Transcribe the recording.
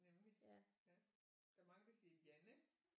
Nemlig ja der er mange der siger Janne